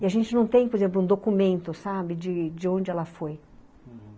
E a gente não tem, por exemplo, um documento, sabe, de de onde ela foi, uhum.